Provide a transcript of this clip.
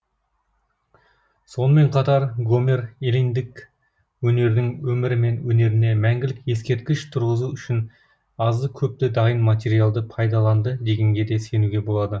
сонымен қатар гомер эллиндік өнердің өмірі мен өнеріне мәңгілік ескерткіш тұрғызу үшін азды көпті дайын материалды пайдаланды дегенге де сенуге болады